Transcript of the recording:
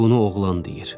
Bunu oğlan deyir.